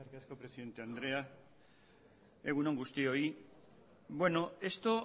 gracias presidente andrea egun on guztioi bueno esto